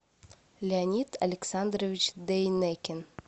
леонид александрович дейнекин